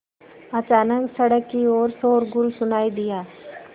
अचानक सड़क की ओर शोरगुल सुनाई दिया